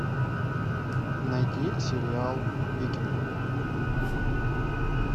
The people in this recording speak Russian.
найди сериал викинги